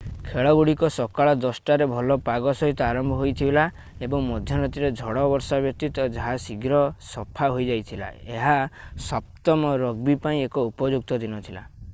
ଖେଳଗୁଡିକ ସକାଳ 10:00 ରେ ଭଲ ପାଗ ସହିତ ଆରମ୍ଭ ହୋଇଥିଲା ଏବଂ ମଧ୍ୟରାତ୍ରିର ଝଡ଼ ବର୍ଷା ବ୍ୟତୀତ ଯାହା ଶୀଘ୍ର ସଫା ହୋଇଯାଇଥିଲା ଏହା 7 ମ ରଗବୀ ପାଇଁ ଏକ ଉପଯୁକ୍ତ ଦିନ ଥିଲା